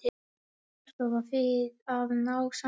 Aðstoða við að ná sambandi